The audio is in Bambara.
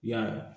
Yala